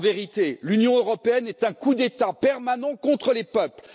En vérité, l'Union européenne est un coup d'État permanent contre les peuples.